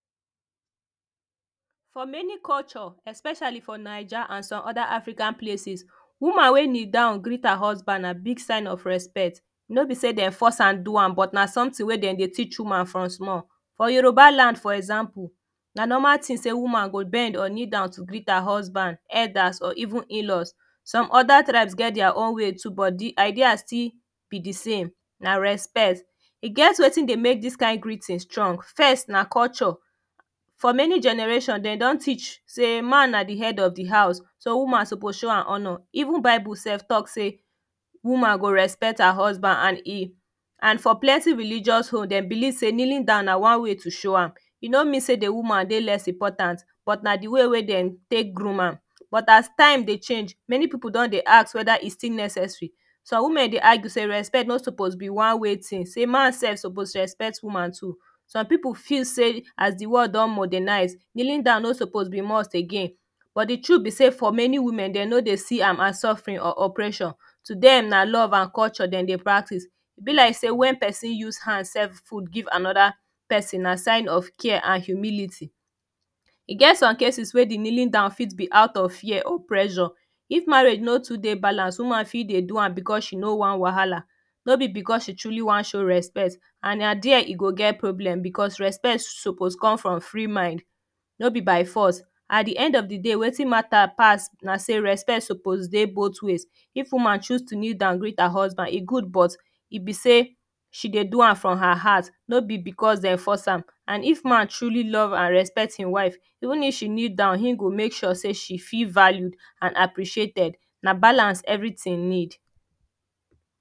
For many culture, especially for Naija and some other African places, woman wey kneel down greet her husband na big sign of respect. No be say dem force am do am, but na something wey dem dey teach woman from small. For Yorubaland, for example, na normal tin say woman go bend or kneel down to greet her husband, elders, or even in-laws. Some other tribes get their own way too, but di idea still be di same; na respect. E get wetin dey make this kind greeting strong. First, na culture. For many generation, dem don teach say man na di head of di house, so woman suppose show am honour. Even Bible sef talk say woman go respect her husband and e and for plenty religious home, dem believe say kneeing down na one way to show am. E no mean say di woman dey less important, but na di way wey dem take groom am; but as time dey change, many people don dey ask whether e still necessary. Some women dey argue say respect no suppose be one-way tin, say man sef suppose respect woman too. Some people feel say as di world do modernize, kneeling dow no suppose be must again. But d truth be say, for many women, dem no dey see am as suffering or oppression. To dem, na love and culture dem dey practice. E be like say when pesin use hand serve food give another pesin, na sign of care and humility. E get some cases wey di kneeling down fit be out of fear or pressure. If marriage no to dey balanced, woman fit dey do am because she no want wahala. No be because she truly wan show respect. And na dia e go get problem because respect suppose come from free mind; no be by force. At the end of di day, wetin matter pass na say respect suppose dey both ways. If woman choose to kneel down greet her husband, e good, but e be say she dey do am from her heart, no be because dem force am. And if man truly love and respect im wife, even if she kneel down, im go make sure say she feel valued and appreciated. Na balance everything need.